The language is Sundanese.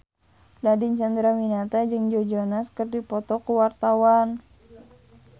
Nadine Chandrawinata jeung Joe Jonas keur dipoto ku wartawan